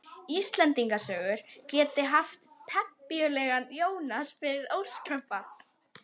Íslendingasögur geti haft pempíulegan Jónas fyrir óskabarn.